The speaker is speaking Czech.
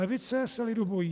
Levice se lidu bojí.